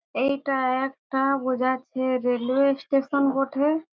এইটা একটা বোঝাচ্ছে রেলওয়ে স্টেশন বঠে।